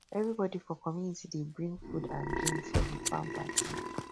everybody for community dey bring food and drink for di farm party